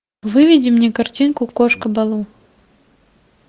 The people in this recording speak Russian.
выведи мне картинку кошка балу